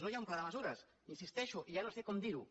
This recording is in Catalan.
no hi ha un pla de mesures hi insisteixo ja no sé com dir ho